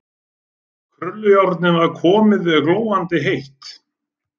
Krullujárnið var komið, glóandi heitt.